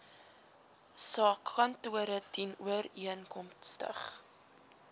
sa kantore dienooreenkomstig